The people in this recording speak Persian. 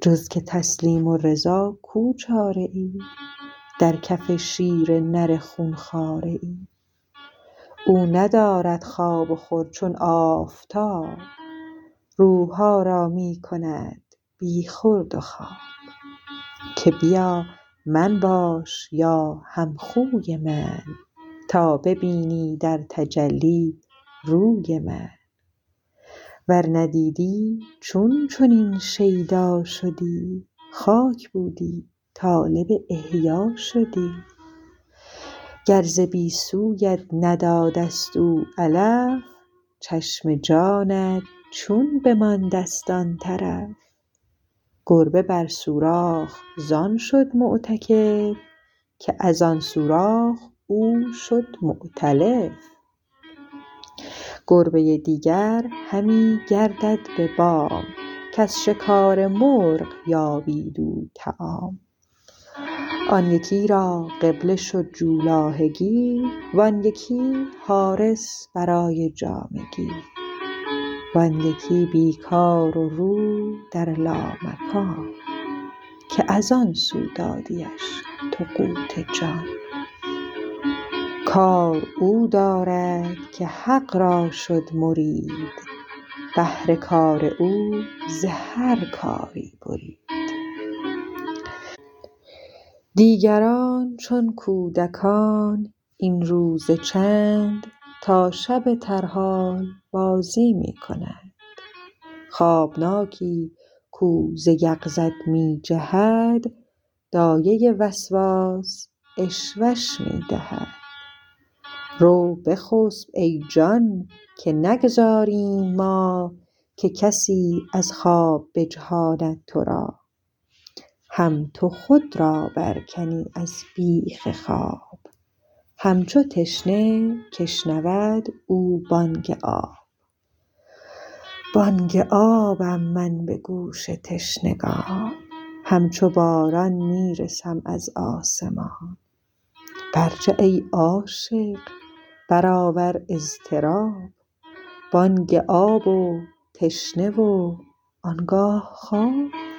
جز که تسلیم و رضا کو چاره ای در کف شیر نری خون خواره ای او ندارد خواب و خور چون آفتاب روحها را می کند بی خورد و خواب که بیا من باش یا هم خوی من تا ببینی در تجلی روی من ور ندیدی چون چنین شیدا شدی خاک بودی طالب احیا شدی گر ز بی سویت ندادست او علف چشم جانت چون بماندست آن طرف گربه بر سوراخ زان شد معتکف که از آن سوراخ او شد معتلف گربه دیگر همی گردد به بام کز شکار مرغ یابید او طعام آن یکی را قبله شد جولاهگی وآن یکی حارس برای جامگی وان یکی بی کار و رو در لامکان که از آن سو دادیش تو قوت جان کار او دارد که حق را شد مرید بهر کار او ز هر کاری برید دیگران چون کودکان این روز چند تا شب ترحال بازی می کنند خوابناکی کو ز یقظت می جهد دایه وسواس عشوه ش می دهد رو بخسپ ای جان که نگذاریم ما که کسی از خواب بجهاند ترا هم تو خود را بر کنی از بیخ خواب هم چو تشنه که شنود او بانگ آب بانگ آبم من به گوش تشنگان هم چو باران می رسم از آسمان بر جه ای عاشق برآور اضطراب بانگ آب و تشنه و آنگاه خواب